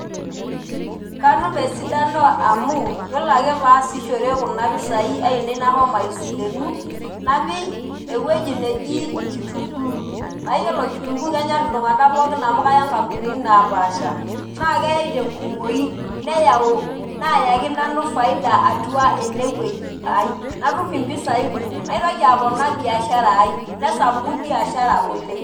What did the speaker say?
Katum esidano amu, yiolo ake paasishore kuna pisai ainei nahomo aisilenu, napik ewueji neji kitunkuu. Na yiolo kitunkuu kenyor iltung'anak pookin amu kaya nkampunini napaasha. Na kei tenkumoyu. Neyau, nayaki nanu faida atua enewueji ai. Natum impisai kumok. Naitoki aponaa biashara ai. Nesapuku biashara oleng'.